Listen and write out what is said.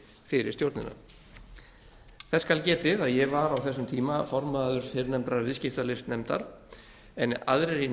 fyrir stjórnina þess skal getið að ég var á þessum tíma formaður fyrrnefndrar viðskiptalífsnefndar en aðrir í